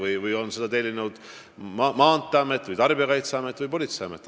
Saateid on tellinud ka Maanteeamet, Tarbijakaitseamet ja politseiamet.